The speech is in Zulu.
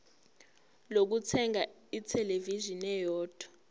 lokuthenga ithelevishini eyodwa